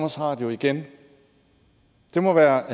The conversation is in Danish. radio igen det må være